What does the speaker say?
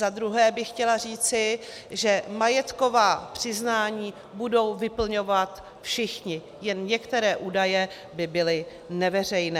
Za druhé bych chtěla říci, že majetková přiznání budou vyplňovat všichni, jen některé údaje by byly neveřejné.